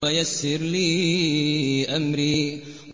وَيَسِّرْ لِي أَمْرِي